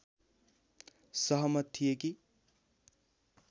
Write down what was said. सहमत थिए कि